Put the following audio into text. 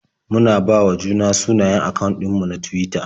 Mun bawa juna sunayen akawun ɗin mu na Tuwita.